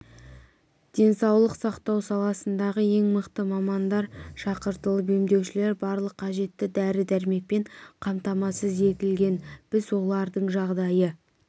денсаулық сақтау саласындағы ең мықты мамандар шақыртылып емделушілер барлық қажетті дәрі-дәрмекпен қамтамасыз етілген біз олардың жағдайы